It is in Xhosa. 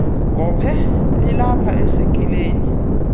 gophe lilapha esekileni